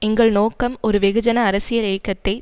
எங்கள் நோக்கம் ஒரு வெகுஜன அரசியல் இயக்கத்தை